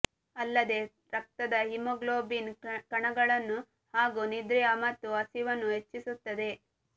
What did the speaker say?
ಅಲ್ಲದೆ ರಕ್ತದ ಹಿಮೋಗ್ಲೋಬಿನ್ ಕಣಗಳನ್ನೂ ಹಾಗೂ ನಿದ್ರೆ ಮತ್ತು ಹಸಿವನ್ನು ಹೆಚ್ಚಿಸುತ್ತದೆ